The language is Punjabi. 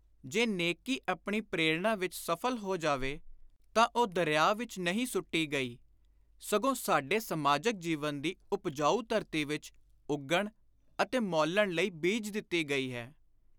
ਜੇ ਨੇਕੀ ਆਪਣੀ ਪ੍ਰੇਰਣਾ ਵਿਚ ਸਫਲ ਹੋ ਜਾਵੇ ਤਾਂ ਉਹ ਦਰਿਆ ਵਿਚ ਨਹੀਂ ਸੁੱਟੀ ਗਈ, ਸਗੋਂ ਸਾਡੇ ਸਮਾਜਕ ਜੀਵਨ ਦੀ ਉਪਜਾਉ ਧਰਤੀ ਵਿਚ ਉੱਗਣ ਅਤੇ ਮੌਲਣ ਲਈ ਬੀਜ ਦਿੱਤੀ ਗਈ ਹੈ।